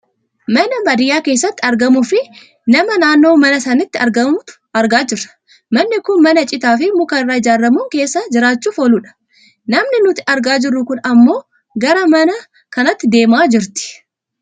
mana baadiyyaa keessatti argamuu fi nama naannoo manaa sanatti argamtu argaa jirra. manni kun mana citaafi muka irraa ijaarramun keessa jiraachuuf ooludha. namni nuti argaa jirru kun ammoo gara mana kanaatti deemaa jirti.